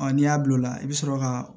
Ɔ n'i y'a don o la i bɛ sɔrɔ ka